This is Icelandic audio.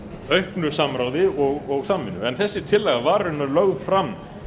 auknu samráði og samvinnu en þessi tillaga var raunar lögð fram